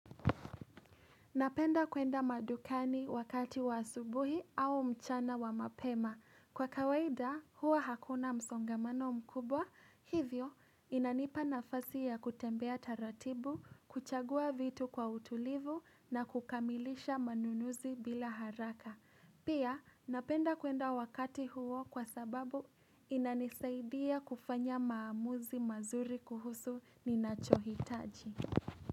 Napenda kwenda madukani wakati wa asubuhi au mchana wa mapema. Kwa kawaida huwa hakuna msongamano mkubwa, hivyo inanipa nafasi ya kutembea taratibu, kuchagua vitu kwa utulivu na kukamilisha manunuzi bila haraka. Pia napenda kwenda wakati huo kwa sababu inanisaidia kufanya maamuzi mazuri kuhusu ninachohitaji.